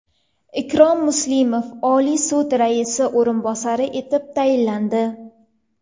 Ikrom Muslimov Oliy sud raisi o‘rinbosari etib tayinlandi.